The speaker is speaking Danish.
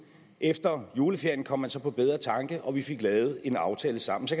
efter juleferien kom man så på bedre tanker og vi fik lavet en aftale sammen så